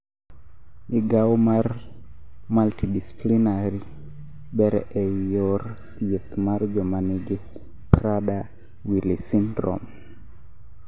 migao mar multidisciplinary ber ei yor thieth mar jomangi Prader willi syndrome